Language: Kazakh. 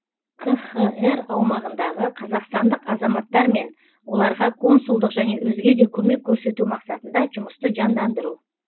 қхр аумағындағы қазақстандық азаматтармен оларға консулдық және өзге де көмек көрсету мақсатында жұмысты жандандыру